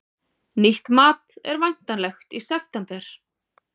Nýtt mat er væntanlegt í september